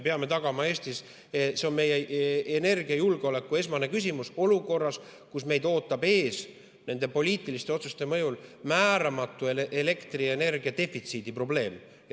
See on meie energiajulgeoleku esmane küsimus olukorras, kus meid ootab nende poliitiliste otsuste mõjul ees määramatu elektrienergia defitsiidi probleem.